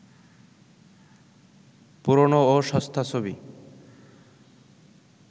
পুরোনো ও সস্তা ছবি